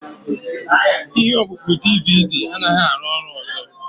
Ihe ọkpụkpọ DVD anaghị arụ ọrụ ọzọ.